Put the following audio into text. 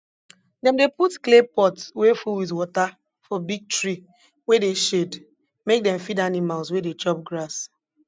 dem dey put clay pot wey full with water for big tree wey dey shade make dem feed animals wey dey chop grass